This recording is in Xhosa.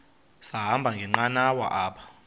sahamba ngenqanawa apha